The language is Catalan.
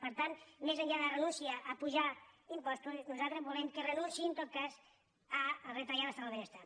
per tant més enllà de la renúncia a apujar impostos nosaltres volem que renunciïn en tot cas a retallar l’estat del benestar